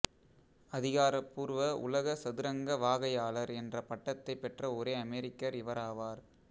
அதிகாரபூர்வ உலக சதுரங்க வாகையாளர் என்ற பட்டத்தைப் பெற்ற ஒரே அமெரிக்கர் இவராவார்